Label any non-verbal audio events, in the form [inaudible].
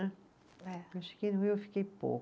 [unintelligible] Eu cheguei no Rio eu fiquei pouco.